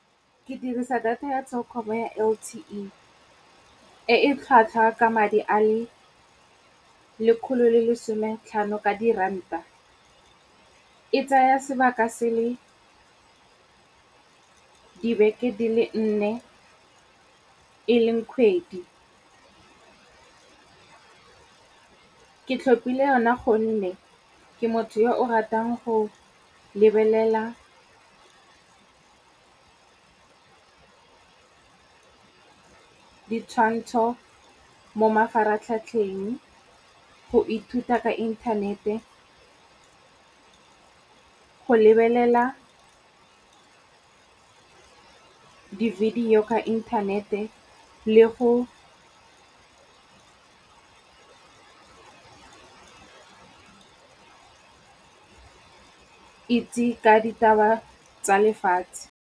Ke dirisa data ya Telkom ya L_T_E. E e tlhwatlhwa ka madi a le lekgolo le lesome tlhano ka di ranta. Ee tsaya sebaka se le dibeke di le nne. E leng kgwedi. Ke tlhopile yone gonne ke motho yo o ratang go lebelela ditshwantsho mo mafaratlhatlheng, go ithuta ka inthanete, go lebelela ke di-video ka inthanete le go itse ka ditaba tsa lefatshe.